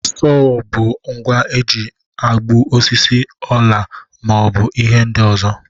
Sowo bụ ngwa eji egbu osisi, ọla ma ọ bụ ihe ndị ọzọ.